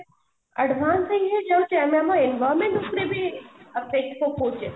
advance ହେଇ ହେଇ ଯାଉଛେ ଆମେ ଆମ environment ଉପରେ ବି